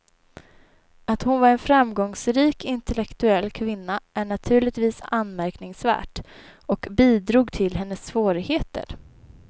Att hon var en framgångsrik intellektuell kvinna är naturligtvis anmärkningsvärt och bidrog till hennes svårigheter.